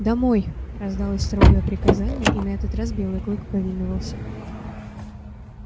домой раздалось строгое приказание и на этот раз белый клык повиновался